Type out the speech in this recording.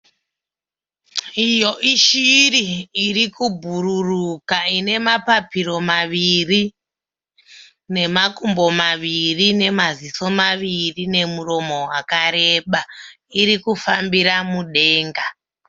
Iyo ishiri irikumbururuka ine mapapiro maviri, nemakumbo maviri, nemaziso maviri nemuromo wakarembera. Irikufambira mudenga.